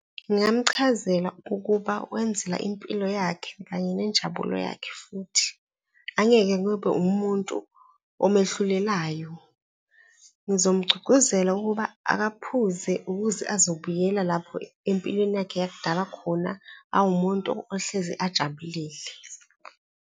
Ngingamchazela ukuba wenzela impilo yakhe kanye nenjabulo yakhe. Futhi angeke kube umuntu omehlulekayo, ngizomgcugcuzela ukuba akaphuze ukuze azobuyela lapho empilweni yakhe yakudala khona awumuntu ohlezi ajabuleli.